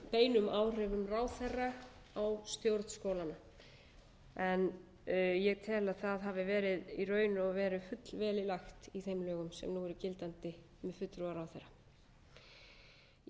beinum áhrifum ráðherra á stjórn skólanna ég tel að það hafi verið í raun og veru fullvel í lagt í þeim lögum sem nú eru gildandi um fulltrúa ráðherra í